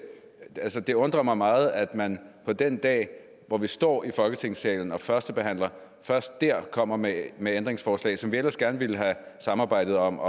det undrer mig meget at man på den dag hvor vi står i folketingssalen og førstebehandler først der kommer med med ændringsforslag som vi ellers gerne ville have samarbejdet om